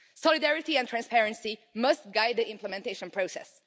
Solidarity and transparency must guide the implementation process.